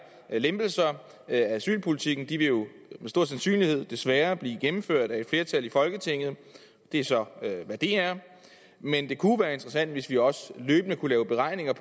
lempelser af asylpolitikken vil jo med stor sandsynlighed desværre blive gennemført af et flertal i folketinget det er så hvad det er men det kunne jo være interessant hvis vi også løbende kunne lave beregninger